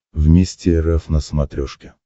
вместе эр эф на смотрешке